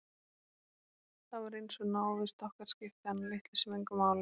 Það var eins og návist okkar skipti hana litlu sem engu máli.